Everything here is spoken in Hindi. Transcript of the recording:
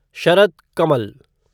शरथ कमल